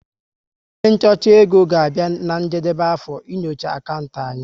Onye nchọcha égo ga-abịa na njedebe afọ, ị nyocha akantị anyi